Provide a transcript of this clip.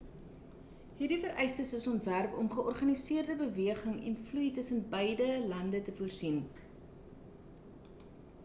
hierdie vereistes is ontwerp om georganiseerde beweging en vloei tussen beide lande te voorsien